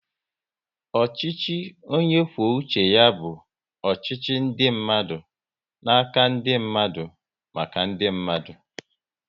Ọchịchị onye kwuo uche ya bụ ọchịchị ndị mmadụ n'aka ndị mmadụ, maka ndị mmadụ